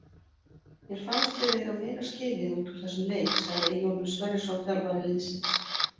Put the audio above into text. Mér fannst við eiga meira skilið út úr þessum leik sagði Eyjólfur Sverrisson þjálfari liðsins.